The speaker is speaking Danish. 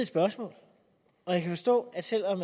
spørgsmål og jeg kan forstå at selv om